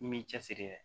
I m'i cɛsiri